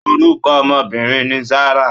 Orúkọ ọmọbìnrin ni Zarah.